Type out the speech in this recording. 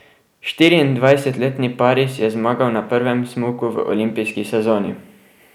Štiriindvajsetletni Paris je zmagal na prvem smuku v olimpijski sezoni.